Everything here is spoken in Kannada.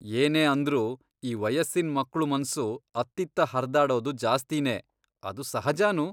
ಏನೇ ಅಂದ್ರೂ ಈ ವಯಸ್ಸಿನ್ ಮಕ್ಳು ಮನ್ಸು ಅತ್ತಿತ್ತ ಹರ್ದಾಡೋದು ಜಾಸ್ತೀನೇ. ಅದು ಸಹಜನೂ.